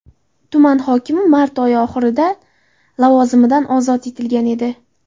Tuman hokimi mart oyi oxirida lavozimidan ozod etilgan edi.